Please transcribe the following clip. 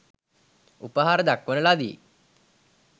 උපහාර දක්වන ලදී.